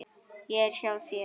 Ég er hjá þér.